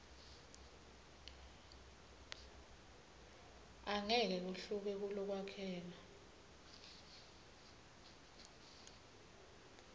angeke kuhluke kulokwakheka